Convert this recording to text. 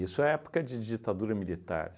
é época de ditadura militar.